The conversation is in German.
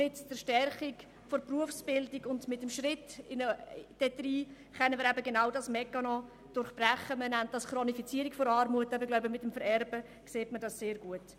Mit der Stärkung der Berufsbildung und einem Schritt in diese Richtung können wir genau diesen Mechanismus durchbrechen, den man als eine Chronifizierung von Armut bezeichnet.